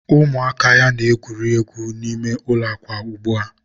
ụmụaka ya na-egwuri egwu n'ime ụlọ akwa ugbua.